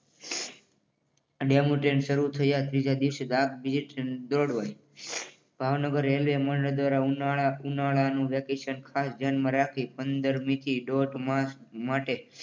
આ demo train શરૂ થયા ના ત્રીજા દિવસે ભાવનગર રેલવે મંડળ દ્વારા ઉનાળા નું વેકેશન ખાસ ધ્યાનમાં રાખી પંદરમી થી દોઢ માસ માટે